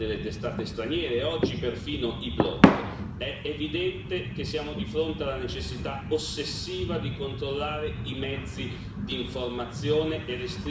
È evidente che siamo di fronte alla necessità ossessiva di controllare i mezzi di informazione e restringere qualsiasi spazio di dissenso.